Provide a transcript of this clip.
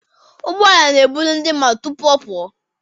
Ụgbọala n'eburu ndị mmadụ tụpụ ọ pụọ.